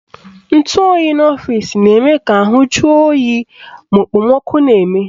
Ntụoyi n'ọfịsi na-eme ka ahụ juo mmadụ oyi ma okpomọkụ na-eme